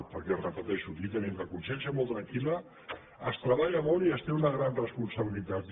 perquè ho repeteixo aquí tenim la consciència molt tranquil·la es treballa molt i es té una gran responsabilitat